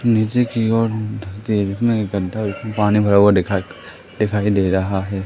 नीचे की ओर तेरी अ इकट्ठा पानी भरा हुआ दिखा दिखाई दे रहा है।